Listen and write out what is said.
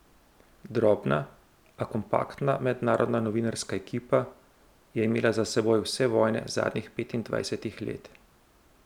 Drobna, a kompaktna mednarodna novinarska ekipa, je imela za seboj vse vojne zadnjih petindvajsetih let.